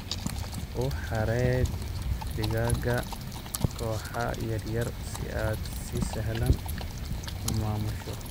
U xareey digaaga kooxo yaryar si aad si sahlan u maamusho.